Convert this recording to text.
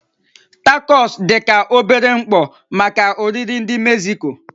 Tacos dị ka obere mkpọ maka oriri ndị Mexico.